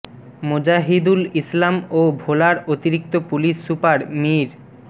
মোজাহিদুল ইসলাম ও ভোলার অতিরিক্ত পুলিশ সুপার মীর মো